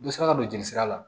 N bɛ se ka don jeli sira la